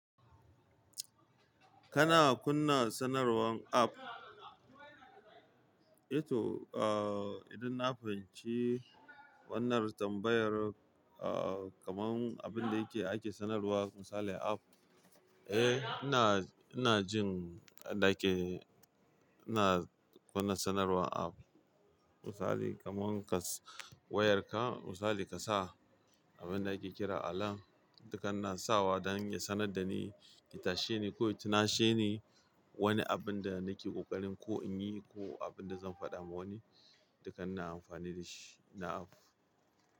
Kana kunna sanarwan app? Eh toh, uh, idan na fahimci wannan tambayar, uh, kamar abin da yake ake sanarwa misali a app, eh ina, ina jin da yake ina kunna sanarwan app. Misali kaman kas wayarka misali ka sa abin da ake kira alarm, duka ina sawa dan ya sanar da ni, ya tashe ni ko ya tunashe ni wani abin da nake ƙoƙarin ko in yi ko abin da zan faɗa wa wani, duka ina amfani da shi na app.